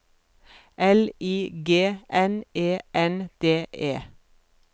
L I G N E N D E